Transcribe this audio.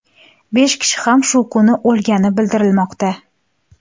Besh kishi ham shu kuni o‘lgani bildirilmoqda.